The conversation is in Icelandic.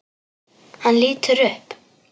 Hann lítur upp.